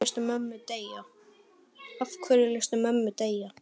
Af hverju léstu mömmu deyja?